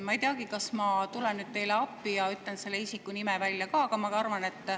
Ma ei teagi, kas ma tulen teile appi ja ütlen selle isiku nime välja.